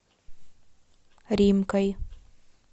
римкой